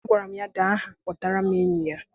Agwara ya dee aha kpọtara m enyi ya!